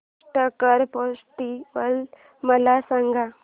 Pushkar festival मला सांग